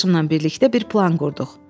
Qardaşımla birlikdə bir plan qurduq.